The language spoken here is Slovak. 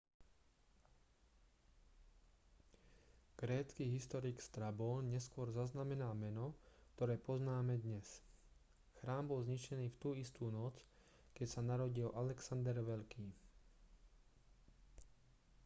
grécky historik strabón neskôr zaznamenal meno ktoré poznáme dnes chrám bol zničený v tú istú noc keď sa narodil alexander veľký